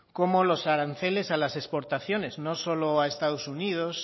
como los aranceles a las exportaciones no solo a estados unidos